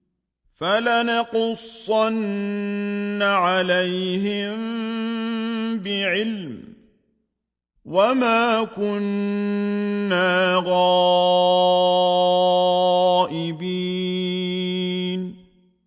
فَلَنَقُصَّنَّ عَلَيْهِم بِعِلْمٍ ۖ وَمَا كُنَّا غَائِبِينَ